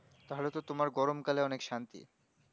তাহলে তো তোমার গরম কালে অনেক শান্তি